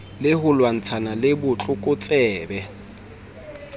le ho lwantshana le botlokotsebe